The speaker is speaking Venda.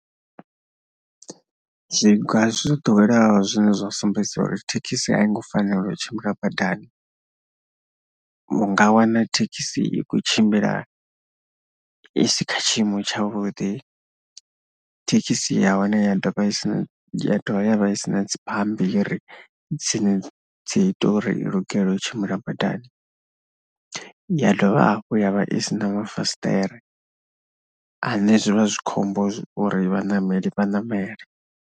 Zwiga zwo ḓoweleaho zwine zwa sumbedza uri thekhisi a i ngo fanela u tshimbila badani vhu nga wana thekhisi i khou tshimbila i si kha tshiimo tshavhuḓi, thekhisi ya hone ya dovha ya dovha ya vha i si na dzi bambiri dzine dzi ita uri i lugele u tshimbila badani, ya dovha hafhu ya vha i si na mafasiṱere ane zwi vha zwi khombo uri vhaṋameli vha ṋamele.